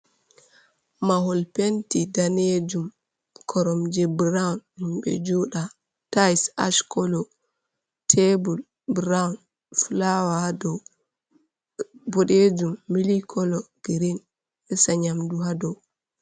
Mahol penti danejum koromje brawn himbe jooɗa, taise ash kolo, tebul brawn, fulawa hadou bodejum mili kolo girin, resa nyamdu hadou.